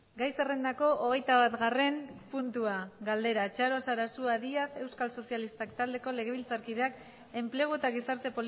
gai zerrendako hogeita batgarren puntua galdera txaro sarasua díaz euskal sozialistak taldeko legebiltzarkideak enplegu eta gizarte